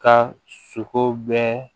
Ka sogo bɛɛ